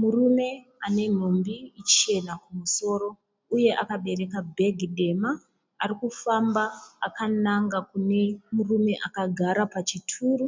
Murume ane nhumbi chena kumusoro uye akabereka bhegi dema arikufamba akananga kune murume akagara pachituru